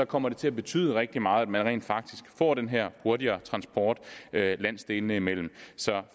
kommer til at betyde rigtig meget at man rent faktisk får den her hurtigere transport landsdelene imellem så